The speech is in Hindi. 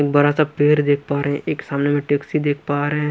बड़ा सा पेड़ देख पा रहे हैं एक सामने में टैक्सी देख पा रहे हैं।